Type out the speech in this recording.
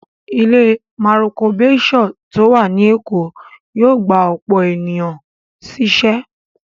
Ilé Maroko Bayshore tó wà ní Èkó yóò gba ọ̀pọ̀ èèyàn sí ṣẹ́